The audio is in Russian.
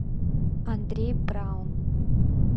андрей браун